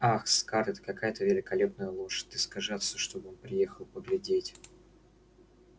ах скарлетт какая это великолепная лошадь ты скажи отцу чтобы он приехал поглядеть